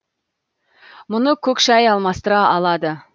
мұны көк шай алмастыра алады